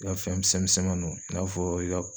I ka fɛn misɛn misɛnmanin i n'a fɔɔ i ka